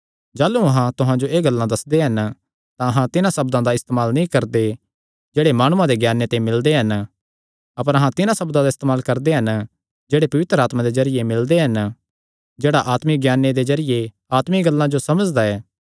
जाह़लू अहां तुहां जो एह़ गल्लां दस्सदे हन तां अहां तिन्हां सब्दां दा इस्तेमाल नीं करदे जेह्ड़े माणुआं दे ज्ञाने ते मिलदे हन अपर अहां तिन्हां सब्दां दा इस्तेमाल करदे हन जेह्ड़े पवित्र आत्मा दे जरिये मिलदे हन जेह्ड़ा आत्मिक ज्ञाने दे जरिये आत्मिक गल्लां जो समझांदा ऐ